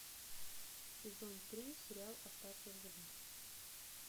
сезон три сериал остаться в живых